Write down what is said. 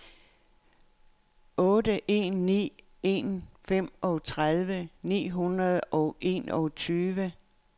otte en ni en femogtredive ni hundrede og enogtyve